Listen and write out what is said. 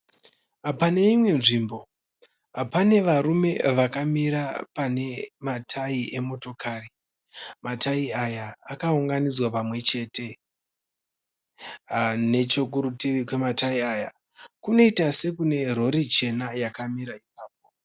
Pane imwe nzvimbo pane varume vakamira pane ma tayi emotokari. Ma tayi aya akaunganidzwa panwe chete. Nechekuruti kwema tayi aya kunoita sekune rori chena yakamira ipapo.